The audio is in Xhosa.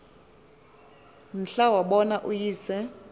mhla wabona uyise